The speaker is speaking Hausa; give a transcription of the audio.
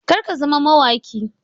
Kar ka zama mawaƙi!